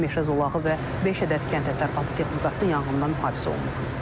Meşə zolağı və beş ədəd kənd təsərrüfatı texnikası yanğından mühafizə olunub.